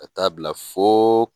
Ka taa bila fo